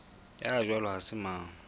ya jwalo ha se mang